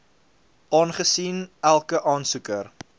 aangesien elke aansoeker